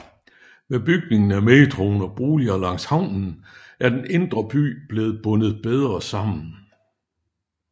Med bygningen af metroen og boliger langs havnen er den indre by blevet bundet bedre sammen